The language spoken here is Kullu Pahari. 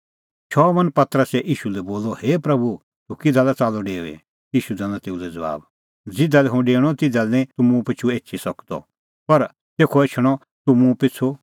शमौन पतरसै ईशू लै बोलअ हे प्रभू तूह किधा लै च़ाल्लअ डेऊई ईशू दैनअ तेऊ लै ज़बाब ज़िधा लै हुंह डेऊणअ तिधा लै निं तूह मुंह पिछ़ू एभी एछी सकदअ पर तेखअ एछणअ तूह मुंह पिछ़ू